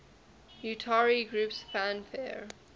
utari groups fanfare